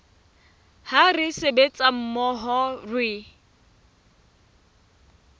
ha re sebetsa mmoho re